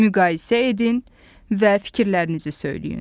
Müqayisə edin və fikirlərinizi söyləyin.